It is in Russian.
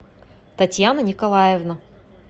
татьяна николаевна